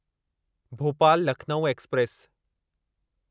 Bhopal Lucknow express